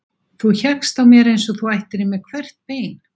Þú hékkst á mér eins og þú ættir í mér hvert bein.